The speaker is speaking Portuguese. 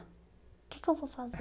O que que eu vou fazer?